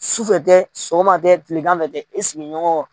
Sufɛ tɛ sɔgɔma tɛ tileganfɛ bɛ tɛ i sigiɲɔgɔn